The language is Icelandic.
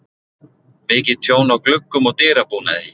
mikið tjón á gluggum og dyrabúnaði